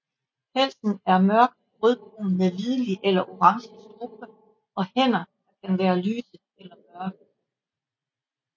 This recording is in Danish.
Pelsen er mørkt rødbrun med hvidlig eller orange strube og hænder der kan være lyse eller mørke